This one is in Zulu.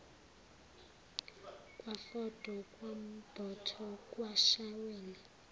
kwafodo kwambotho kwashaweni